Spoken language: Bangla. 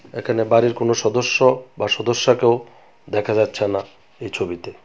এখানে বাড়ির কোনো সদস্য বা সদস্যাকেও দেখা যাচ্ছে না এই ছবিতে।